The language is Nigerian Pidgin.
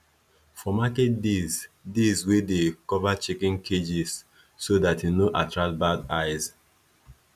for market days days we dey cover chicken cages so dat e no attract bad eyes